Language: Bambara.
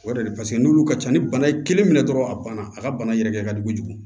O yɛrɛ de paseke n'olu ka ca ni bana ye kelen minɛ dɔrɔn a banna a ka bana yɛrɛ ka jugu